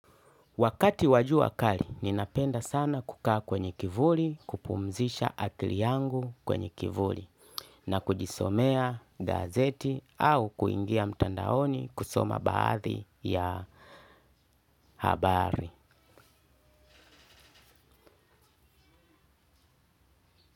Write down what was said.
Wakati wa jua kali ninapenda sana kukaa kwenye kivuli kupumzisha akili yangu kwenye kivuli na kujisomea gazeti au kuingia mtandaoni kusoma baadhi ya habari.